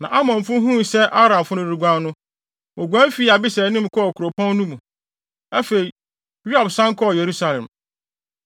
Na Amonfo huu sɛ Aramfo no reguan no, woguan fi Abisai anim kɔɔ kuropɔn no mu. Afei, Yoab san kɔɔ Yerusalem.